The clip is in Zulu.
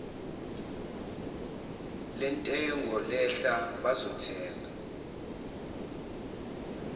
lentengo lehla bazothenga